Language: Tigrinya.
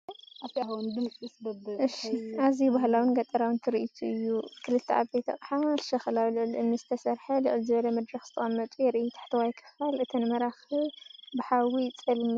ኣዝዩ ባህላውን ገጠራውን ትርኢት እዩ! ክልተ ዓበይቲ ኣቕሓ ሸኽላ ኣብ ልዕሊ እምኒ ዝተሰርሐ ልዕል ዝበለ መድረኽ ዝተቐመጡ የርኢ። ታሕተዋይ ክፋል እተን መራኽብ ብሓዊ ይጸልመታ።